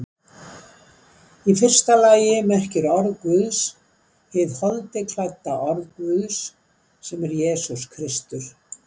Í fyrsta lagi merkir orð Guðs hið holdi klædda orð Guðs, sem er Jesús Kristur.